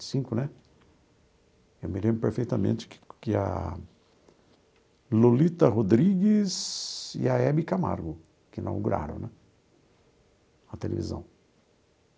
Cinco né eu me lembro perfeitamente que que a Lolita Rodrigues e a Hebe Camargo que inauguraram né a televisão.